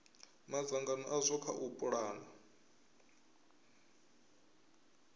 madzangano azwo kha u pulana